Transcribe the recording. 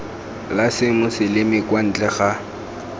la semoseleme kwa ntle ga